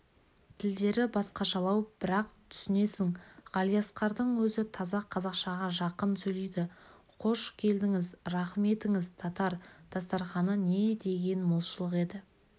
тілдері басқашалау бірақ түсінесің ғалиасқардың өзі таза қазақшаға жақын сөйлейді қош келдіңіз рахым етіңіз татар дастарқаны не деген молшылық еді